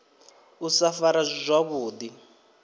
u sa farwa zwavhu ḓi